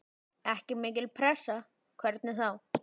Ekki mikil pressa, hvernig þá?